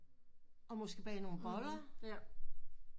Og måske bage nogen boller